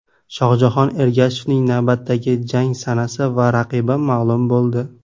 Shohjahon Ergashevning navbatdagi jang sanasi va raqibi ma’lum bo‘ldi.